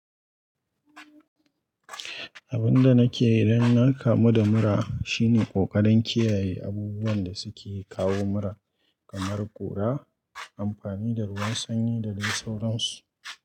Abin da nake yi idan na kamu da mura shine ƙoƙarin kiyaye abubuwan da suke kawo mura kamar ƙura, amfani da ruwan sanyi da dai sauran su.